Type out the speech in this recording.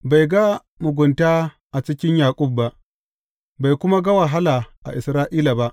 Bai ga mugunta a cikin Yaƙub ba, bai kuma ga wahala a Isra’ila ba.